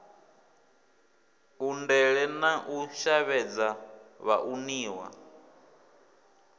undele na u shavhedza vhauniwa